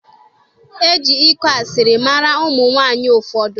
E ji ịkụ asịrị mara ụmụ nwaanyị ụfọdụ